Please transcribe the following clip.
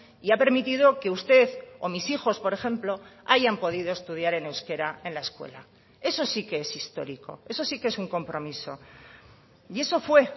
y ha permitido que usted o mis hijos por ejemplo hayan podido estudiar en euskera en la escuela eso sí que es histórico eso sí que es un compromiso y eso fue